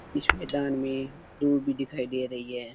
इस मैदान में दूब भी दिखाई दे रही है।